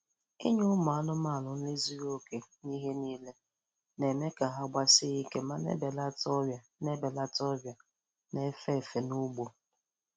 Inye ụmụ anụmanụ nri zuru oke n'ihe niile, na-eme ka ha gbasie ike ma na-ebelata ọrịa na-ebelata ọrịa na-efe efe n' ugbo.